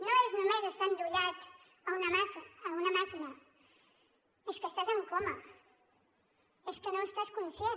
no és només estar endollat a una màquina és que estàs en coma és que no estàs conscient